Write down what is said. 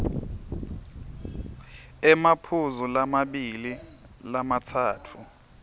emaphuzu lamabili lamatsatfu